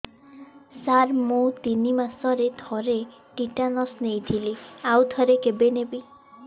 ସାର ମୁଁ ତିନି ମାସରେ ଥରେ ଟିଟାନସ ନେଇଥିଲି ଆଉ ଥରେ କେବେ ନେବି